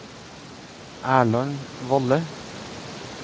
Erland Valle